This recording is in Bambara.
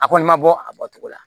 A kɔni ma bɔ a bɔcogo la